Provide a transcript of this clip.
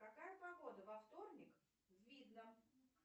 какая погода во вторник в видном